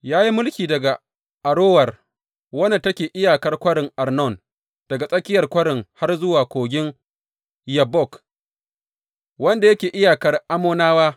Ya yi mulki daga Arower wadda take iyakar kwarin Arnon, daga tsakiyar kwarin har zuwa, Kogin Yabbok, wanda yake iyakar Ammonawa.